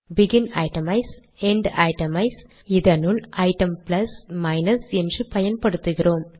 begin itemize end itemize இதனுள் நாம் item plus minus என்று பயன்படுத்துகிறோம்